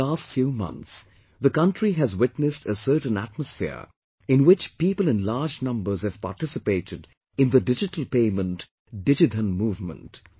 Over the last few months the country has witnessed a certain atmosphere in which people in large numbers have participated in the digital payment, 'Digidhan' movement